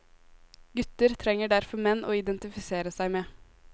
Gutter trenger derfor menn å identifisere seg med.